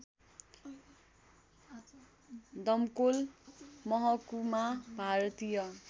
डमकोल मह्कुमा भारतीय